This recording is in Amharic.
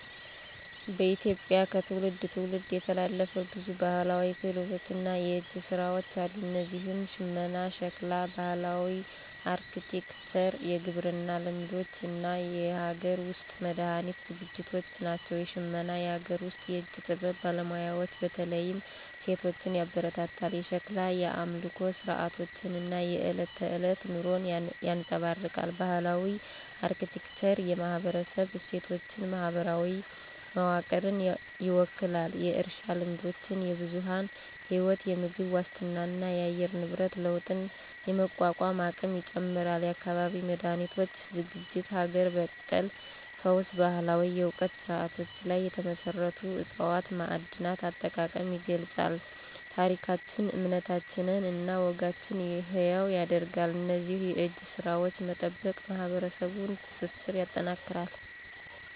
በኢትዮጵያ ከትውልድ ትውልድ የተላለፉ ብዙ ባህላዊ ክህሎቶች እና የእጅ ስራዎች አሉ። እነዚህም ሽመና፣ ሸክላ፣ ባህላዊ አርክቴክቸር፣ የግብርና ልማዶች እና የሀገር ውስጥ መድሃኒት ዝግጅቶች ናቸው። ሽመና - የአገር ውስጥ የእጅ ጥበብ ባለሙያዎችን በተለይም ሴቶችን ያበረታታል። የሸክላ - የአምልኮ ሥርዓቶችን እና የዕለት ተዕለት ኑሮን ያንፀባርቃል። ባህላዊ አርክቴክቸር - የማህበረሰብ እሴቶችን፣ ማህበራዊ መዋቅርን ይወክላል። የእርሻ ልማዶች -የብዝሃ ህይወት፣ የምግብ ዋስትናንና የአየር ንብረት ለውጥን የመቋቋም አቅም ይጨምራል። የአካባቢ መድሃኒቶች ዝግጅት -ሀገር በቀል ፈውስ ባህላዊ የእውቀት ስርዓቶች ላይ የተመሰረቱ ዕፅዋት፣ ማዕድናት አጠቃቀም ይገልፃል። ታሪኮችን፣ እምነቶችን እና ወጎችን ሕያው ያደርጋሉ። እነዚህን የእጅ ስራዎች መጠበቅ የማህበረሰቡን ትስስር ያጠናክራል።